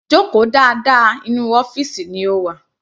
Joko dáadáa, inú ọ́fìsì ni o wà.